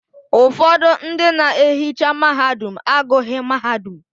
Ụfọdụ ndị na-ehicha mahadum agụghị mahadum